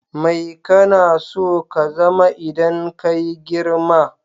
Mai kana so ka zama idan kayi girma?